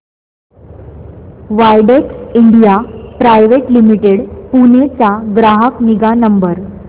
Widex India private limited Pune चा ग्राहक निगा नंबर